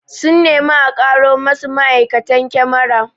Sun nemi a karo masu ma'aikatan kyamara